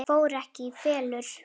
Það fór ekki í felur.